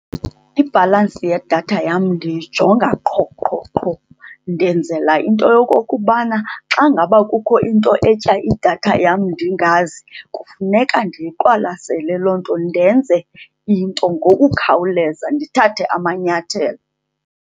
Ibhalansi yedatha yam ndiyijonga qho, qho, qho. Ndenzela into yokokubana xa ngaba kukho into etya idatha yam ndingazi kufuneka ndiyiqwalasele loo nto, ndenze into ngokukhawuleza, ndithathe amanyathelo.